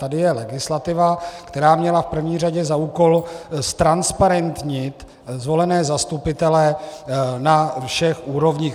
Tady je legislativa, která měla v první řadě za úkol ztransparentnit zvolené zastupitele na všech úrovních.